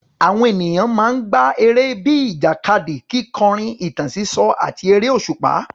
Àwọn ènìyàn máa ń gbá eré bíi ìjàkadì, kíkọrin, ìtàn sísọ, àti eré òṣùpá.